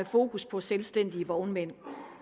fokus på selvstændige vognmænd